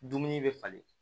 Dumuni bɛ falen